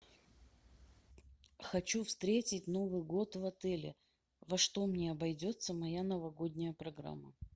хочу встретить новый год в отеле во что мне обойдется моя новогодняя программа